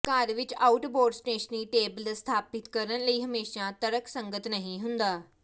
ਘਰ ਵਿੱਚ out board stationery tables ਸਥਾਪਿਤ ਕਰਨ ਲਈ ਹਮੇਸ਼ਾ ਤਰਕਸੰਗਤ ਨਹੀਂ ਹੁੰਦਾ